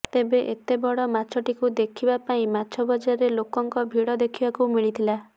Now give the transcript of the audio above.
ତେବେ ଏତେ ବଡ ମାଛଟିକୁ ଦେଖିବାକୁ ପାଇଁ ମାଛ ବଜାରରେ ଲୋକଙ୍କ ଭିଡ ଦେଖିବାକୁ ମିଳିଥିଲା